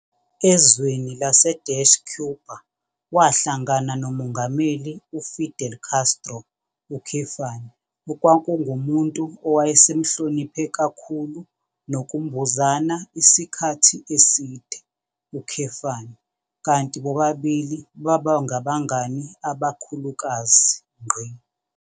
Ezweni lase-Cuba wahlangana noMongameli uFidel Castro, okwakungumuntu owayesemhloniphe kakhulu nokumbuzana isikhathi eside, kanti bobabili babangabangani abakhulukazi.